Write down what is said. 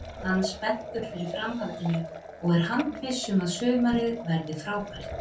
Hann spenntur fyrir framhaldinu og er handviss um að sumarið verði frábært.